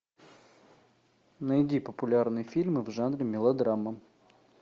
найди популярные фильмы в жанре мелодрама